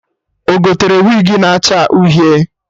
Ọ gotere wigi na acha Uhie